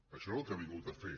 això és el que ha vingut a fer